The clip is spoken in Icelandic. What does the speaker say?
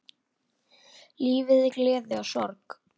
Lífið er gleði og sorg.